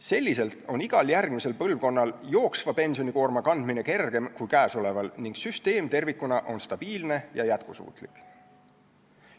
Selliselt on igal järgmisel põlvkonnal praegusest kergem kanda jooksva pensioni koormat ning süsteem tervikuna on stabiilne ja jätkusuutlik.